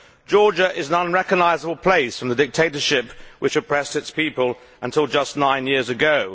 Georgia is an unrecognisable place from the dictatorship which oppressed its people until just nine years ago.